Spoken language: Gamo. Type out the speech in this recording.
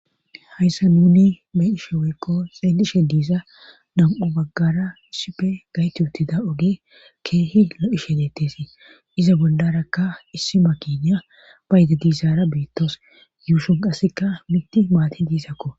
hayssa nuni be7ishe woykko xeelishe diiza nam7u baggara issipe gaytu utida oge keehi lo7ishe detesii iza bolarakka issi makiniya bayda diizara betawus yuushon qassika mitti maati diizakko